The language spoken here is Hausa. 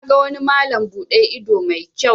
Na ga wani malam bude ido mai kyau.